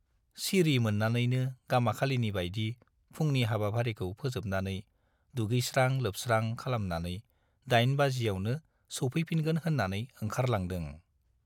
सिरि मोन्नानैनो गामाखालिनि बाइदि फुंनि हाबाफारिखौ फोजोबनानै दुगैस्रां-लोबस्रां खालामनानै दाइन बाजियावनो सौफैफिनगोन होन्नानै ओंखारलांदों।